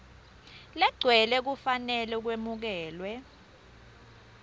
legcwele kufanele kwemukelwe